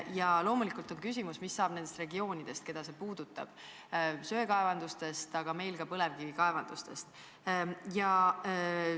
Ja loomulikult on küsimus, mis saab nendest regioonidest, keda see puudutab: mis saab söekaevandustest ja meil Eestis põlevkivikaevandustest?